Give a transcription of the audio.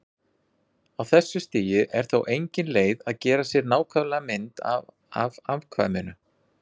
Á þessu stigi er þó engin leið að gera sér nákvæma mynd af afkvæminu.